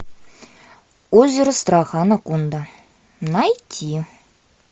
озеро страха анаконда найти